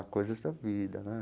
Coisas da vida, né?